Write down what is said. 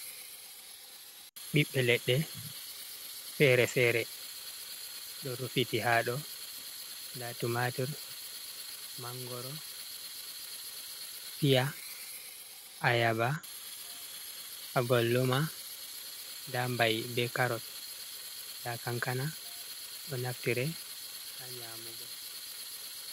Ɓiɓɓe leɗɗe fere-fere ɗo rufiti haɗo, nda tumatur, mangoro, piya, ayaba, abolloma, nda mba'i, be karot, nda kankana ɗo naftire ha nyamugo.